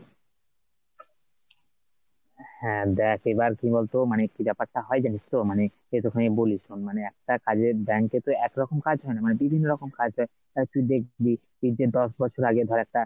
হ্যাঁ দেখ এবার কি বলতো মানে কি ব্যাপারটা হয় জানিস তো, মানে একটুখানি বলি শোন মানে একটা কাজের bank এ তো একরকম কাজ হয়না বিভিন্ন রকম কাজ হয় তা তুই দেখবি এই যে দশ বছর আগে ধর একটা,